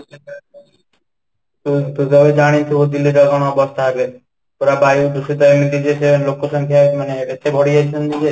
ପୁରା ବାୟୁ ଦୂଷିତ ଏମିତି ଯେ, ସେ ଲୋକ ସଂଖ୍ୟା ମାନେ ଏତେ ବଢ଼ିଯାଇଛନ୍ତି ଯେ